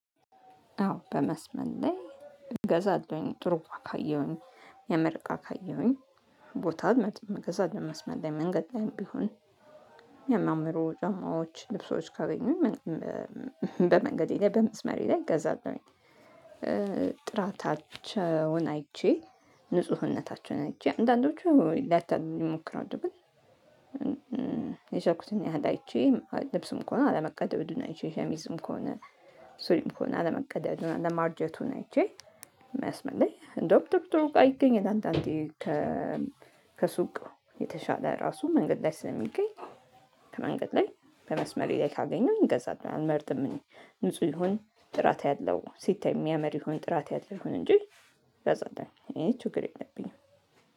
አዎ በመስመር ላይ እገዛለሁኝ ጥሩ እቃ ካየሁኝ የሚያምር ካየሁኝ ቦታ መገዛ ለመስመር ላይ መንገድ ላይም ቢሆን። የሚያምሩ ጫማዎች ልብሶች ካገኙ በመንገዴ በመስመሬ ላይ እገዛለሁኝ። ጥራታቸውን አይቼ ንፁህነታቸውን አይቼ አንዳንዶቹ ሊያታልሉ ይሞክራሉ ግን የቻልኩትን ያህል አይቼ ልብስም ከሆነ አለመቀደዱን አይቼ ሸሚዝም ከሆነ ሱሪም ከሆነ አለመቀደዱን አለማርጀቱን አይቼ። መስመር ለይ እንደውም ጥሩጥሩ እቃ ይገኛል አንዳንዴ ከሱቅ የተሻለ ራሱ መንገድ ላይ ስለሚገኝ። ከመንገድ ላይ በመስመሬ ላይ ካገኘሁኝ ገዛላሁኝ አልመርጥም። እኔ ንጹህ ይሁን ጥራት ያለው ሲታይ የሚያምር ይሁን ጥራት ያለው ይሁን እንጂ ገዛላሁኝ እኔ ችግር የለብኝም